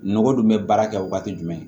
Nɔgɔ dun bɛ baara kɛ wagati jumɛn